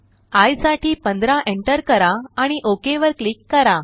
I साठी 15 enter करा आणि OKवर क्लिक करा